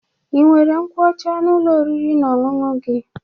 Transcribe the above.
Ị nwere nkwụ ọcha n'Ụlọ oriri na ọṅụṅụ gi?